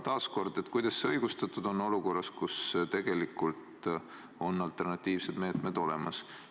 Taas kord, kuidas see on õigustatud olukorras, kus tegelikult on alternatiivsed meetmed olemas?